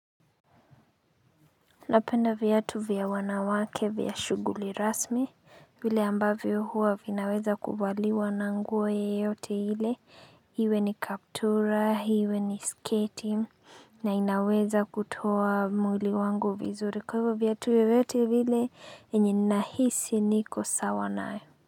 Napenda viatu vya wanawake vya shuguli rasmi, vile ambavyo huwa vinaweza kuvaliwa na nguo yoyote ile, iwe ni kaptura, iwe ni sketi, na inaweza kutoa mwili wangu vizuri. Kwa hivyo viatu vyovyote vile yenye ninahisi niko sawa nayo.